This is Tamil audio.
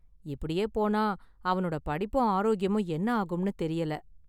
இப்படியே போனா அவனோட படிப்பும் ஆரோக்கியமும் என்ன ஆகும்னு தெரியல.